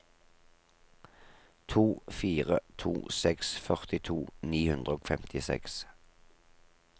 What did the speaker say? to fire to seks førtito ni hundre og femtiseks